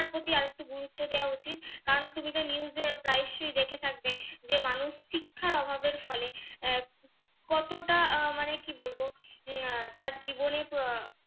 শিক্ষার প্রতি আরেকটু গুরুত্ব দেওয়া উচিত কারন তুমি তো news এর প্রায়শ্চই দেখে থাকবে যে মানুষ শিক্ষার অভাবের ফলে আহ কতটা আহ মানে কি বলবো আহ তার জীবনে আহ